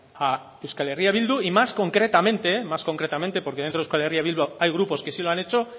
a euskal herria bildu y más concretamente más concretamente porque dentro de euskal herria bildu hay grupos que sí lo han hecho